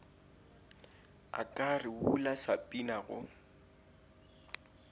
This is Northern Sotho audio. a ka rebola sapina go